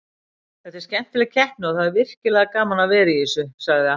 Þetta er skemmtileg keppni og það er virkilega gaman að vera í þessu, sagði Atli.